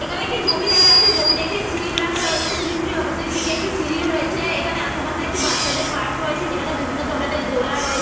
এখানে একটি জমি দেখা যাচ্ছে। জমিতে একটি স্লিপ রাখা রয়েছে। স্লিপ টির অপোজিট দিকে একটি সিঁড়িও রয়েছে। এখানে আশেপাশে একটি বাচ্চাদের পার্ক রয়েছে। যেখানে বিভিন্ন ধরনের দোলা রয়ে --